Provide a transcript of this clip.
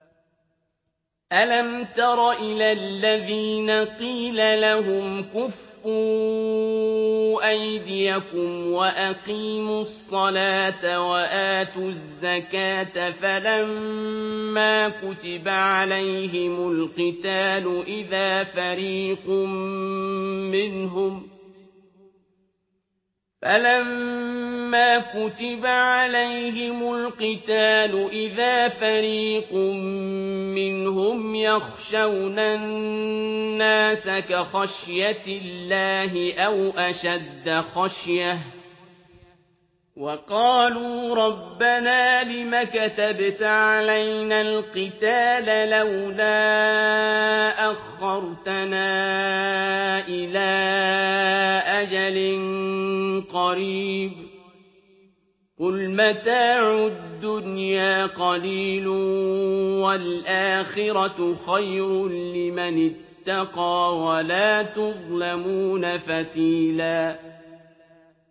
أَلَمْ تَرَ إِلَى الَّذِينَ قِيلَ لَهُمْ كُفُّوا أَيْدِيَكُمْ وَأَقِيمُوا الصَّلَاةَ وَآتُوا الزَّكَاةَ فَلَمَّا كُتِبَ عَلَيْهِمُ الْقِتَالُ إِذَا فَرِيقٌ مِّنْهُمْ يَخْشَوْنَ النَّاسَ كَخَشْيَةِ اللَّهِ أَوْ أَشَدَّ خَشْيَةً ۚ وَقَالُوا رَبَّنَا لِمَ كَتَبْتَ عَلَيْنَا الْقِتَالَ لَوْلَا أَخَّرْتَنَا إِلَىٰ أَجَلٍ قَرِيبٍ ۗ قُلْ مَتَاعُ الدُّنْيَا قَلِيلٌ وَالْآخِرَةُ خَيْرٌ لِّمَنِ اتَّقَىٰ وَلَا تُظْلَمُونَ فَتِيلًا